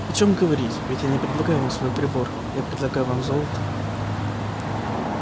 о чём говорить ведь я не предлагаю вам свой прибор я предлагаю вам золото